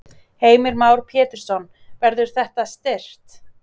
Heimir Már Pétursson: Verður það styrkt?